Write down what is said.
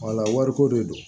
Wala wariko de don